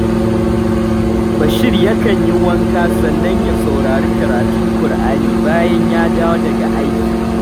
Bashir yakan yi wanka sannan ya saurari karatun Kur’ani bayan ya dawo daga aiki